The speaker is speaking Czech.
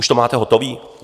Už to máte hotové?